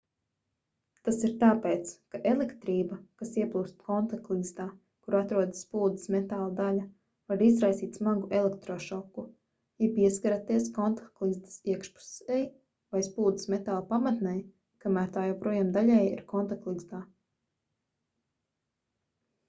tas ir tāpēc ka elektrība kas ieplūst kontaktligzdā kur atrodas spuldzes metāla daļa var izraisīt smagu elektrošoku ja pieskaraties kontaktligzdas iekšpusei vai spuldzes metāla pamatnei kamēr tā joprojām daļēji ir kontaktligzdā